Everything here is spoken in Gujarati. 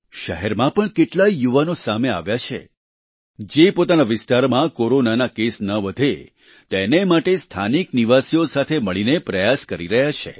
શહેરમાં પણ કેટલાય યુવાનો સામે આવ્યા છે જે પોતાના વિસ્તારમાં કોરોનાના કેસ ન વધે તેને માટે સ્થાનિક નિવાસીઓ સાથે મળીને પ્રયાસ કરી રહ્યા છે